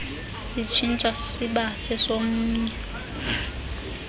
sitshintsha siba sesomnye